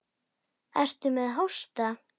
Ertu með hósta?